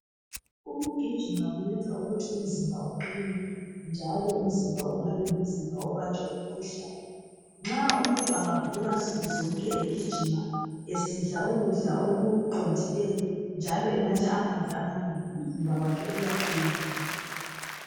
Ukugijima kuyenza ukuthi umzimba uqine njalo umzimba ungabi ngumzimba obanjwa yimikhuhlane. Nxa umuntu engavuka nsukuzonke egijima esidla ukudla okuqondileyo njalo enatha amanzi amanengi umzimba wakhe uyaqina.